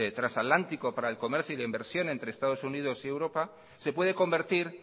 transatlántico para el comercio y la inversión entre estados unidos y europa se puede convertir